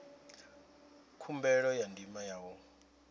khumbelo ya ndima ya u